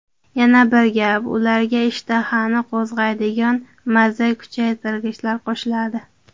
Yana bir gap, ularga ishtahani qo‘zg‘aydigan maza kuchaytirgichlar qo‘shiladi.